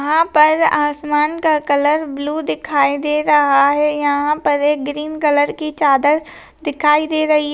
यहाँ पर आसमान का कलर ब्लू दिखाई दे रहा है यहां पर एक ग्रीन कलर की चादर दिखाई दे रही है।